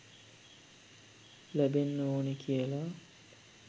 ලැබෙන්න ඕනේ කියලා.